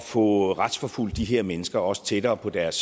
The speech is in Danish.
få retsforfulgt de her mennesker også tættere på deres